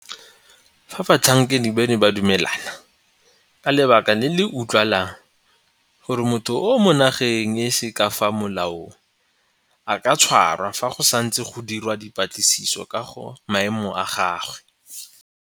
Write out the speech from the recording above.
Fa batlhankedi bano ba dumela, ka lebaka le le utlwalang, gore motho o mo nageng e se ka fa molaong, a ka tshwarwa fa go santse go dirwa dipatlisiso ka ga maemo a gagwe.